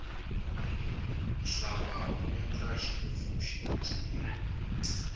nhlava wu endla xinefu xi nandiha